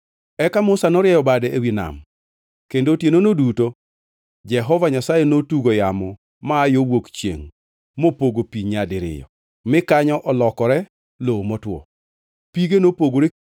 Eka Musa norieyo bade ewi nam, kendo otienono duto Jehova Nyasaye notugo yamo ma aa yo wuok chiengʼ mopogo pi nyadiriyo mi kanyo olokore lowo motwo. Pige nopogore,